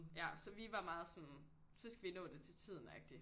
Ja så vi var meget sådan så skal vi nå det til tiden agtig